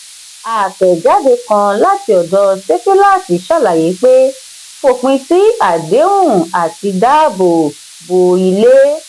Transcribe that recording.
àtẹ̀jade kàn láti ọdọ sefilaati sàlàyé pé fòpin sí àdéhùn àti dáàbò bo ilé.